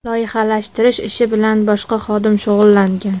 Loyihalashtirish ishi bilan boshqa xodim shug‘ullangan.